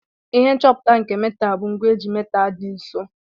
Ihe nchọpụta nke metal bu ngwa eji metal di nso.